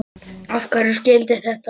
Af hverju skyldi þetta vera?